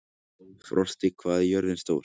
Frosti, hvað er jörðin stór?